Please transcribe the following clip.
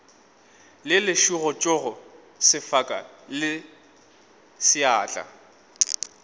le lešuhutsogo sefaka le seatla